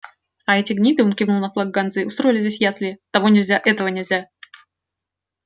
а эти гниды он кивнул на флаг ганзы устроили здесь ясли того нельзя этого нельзя